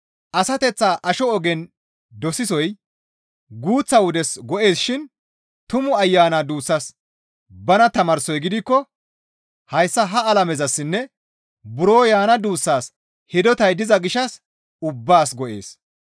Asateththaa asho ogen dosisoy guuththa wodes go7ees shin Tumu Ayana duussas bana tamaarsoy gidikko hayssa ha alamezassinne buro yaana duussaas hidotay diza gishshas ubbaas go7ees.